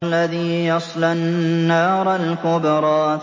الَّذِي يَصْلَى النَّارَ الْكُبْرَىٰ